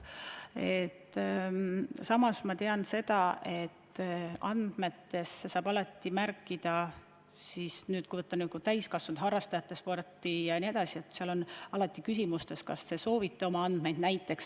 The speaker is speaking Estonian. Ma tean, et andmetesse saab alati märkida – ma pean silmas täiskasvanud harrastajate sporti –, kas soovitakse oma andmed avaldada.